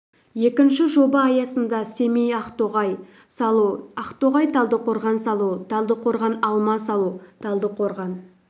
екінші жоба аясында семей ақтоғай салу ақтоғай талдықорған салу талдықорған-алма салу талдықорған